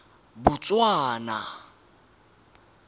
botswana